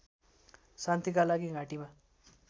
शान्तिका लागि घाँटीमा